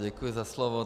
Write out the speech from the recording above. Děkuji za slovo.